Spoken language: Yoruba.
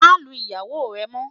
má Lu ìyàwó rè mo